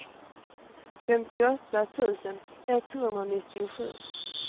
femtioåtta tusen etthundranittiosju